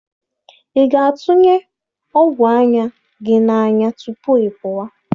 Ị ga-atụnye ọgwụ anya gị n'anya tupu ị pụwa?